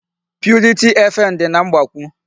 Purity FM dị na Mgbakwụ.